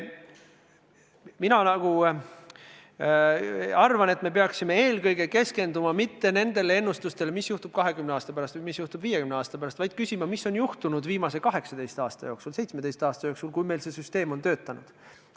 Mina arvan, et me ei peaks keskenduma mitte sellele ennustusele, mis juhtub 20 aasta pärast või mis juhtub 50 aasta pärast, vaid küsima, mis on juhtunud viimase 18 aasta jooksul, 17 aasta jooksul, kui meil see süsteem on olnud.